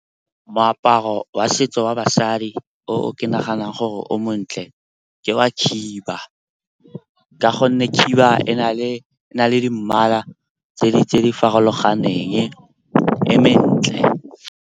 Moaparo wa setso wa basadi o ke naganang gore o montle ke wa khiba, ka gonne khiba e na le di mmala tse di farologaneng, e mentle.